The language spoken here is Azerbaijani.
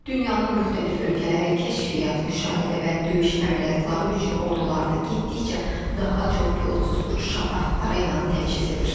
Dünyanın müxtəlif ölkələri kəşfiyyat, müşahidə və döyüş əməliyyatları üçün ordularını getdikcə daha çox pilotsuz uçuş aparatları ilə təchiz edir.